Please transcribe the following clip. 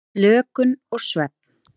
Slökun og svefn.